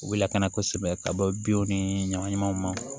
U bɛ lakana kosɛbɛ ka bɔ binw ni ɲagaminanw ma